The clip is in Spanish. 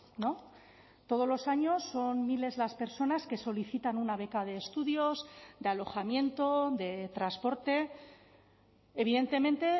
no todos los años son miles las personas que solicitan una beca de estudios de alojamiento de transporte evidentemente